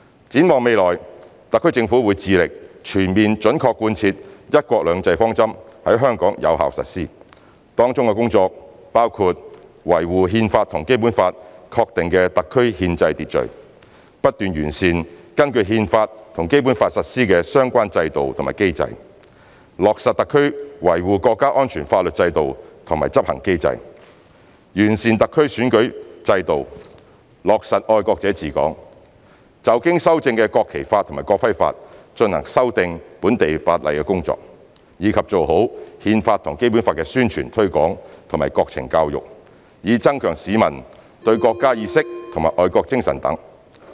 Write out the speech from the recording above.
展望未來，特區政府會致力全面準確貫徹"一國兩制"方針在香港有效實施，當中工作包括維護《憲法》和《基本法》確定的特區憲制秩序，不斷完善根據《憲法》和《基本法》實施的相關制度和機制；落實特區維護國家安全法律制度和執行機制；完善特區選舉制度落實"愛國者治港"；就經修正的《國旗法》及《國徽法》進行修訂本地法例工作，以及做好《憲法》和《基本法》宣傳推廣及國情教育，以增強市民的國家意識和愛國精神等。